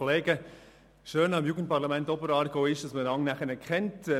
Das Schöne am Jugendparlament Oberaargau ist, dass man einander nachher kennt.